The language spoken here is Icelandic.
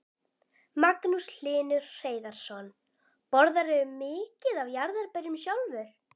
Magnús Hlynur Hreiðarsson: Borðarðu mikið af jarðarberjum sjálfur?